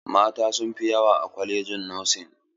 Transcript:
Mata sun fi yawa a kwalajin nosin.